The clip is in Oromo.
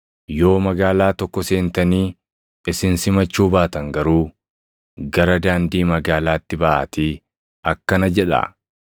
Yoo magaalaa tokko seentanii isin simachuu baatan garuu gara daandii magaalaatti baʼaatii akkana jedhaa;